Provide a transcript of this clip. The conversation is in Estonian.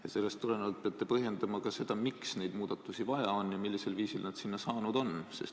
Ja sellest tulenevalt peate põhjendama ka seda, miks neid muudatusi vaja on ja millisel viisil need sinna saanud on.